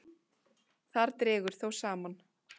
Þar dregur þó saman.